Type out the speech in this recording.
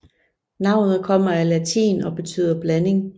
Navnet kommer af latin og betyder blanding